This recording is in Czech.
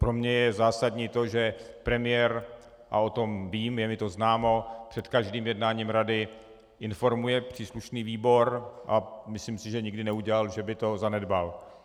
Pro mě je zásadní to, že premiér - a o tom vím, je mi to známo - před každým jednáním Rady informuje příslušný výbor, a myslím si, že nikdy neudělal, že by to zanedbal.